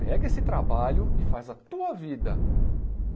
Pega esse trabalho e faz a tua vida.